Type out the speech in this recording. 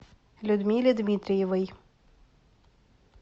людмиле дмитриевой